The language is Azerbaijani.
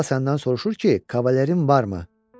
Xala səndən soruşur ki, kavalirin varmı?